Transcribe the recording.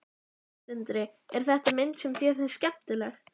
Sindri: Er þetta mynd sem þér finnst skemmtileg?